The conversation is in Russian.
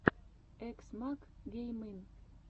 экс мак геймин